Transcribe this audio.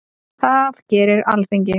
Það gerir Alþingi.